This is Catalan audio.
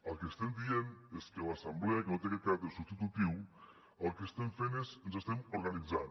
el que estem dient és que a l’assemblea que no té aquest caràcter substitutiu el que estem fent és ens estem organitzant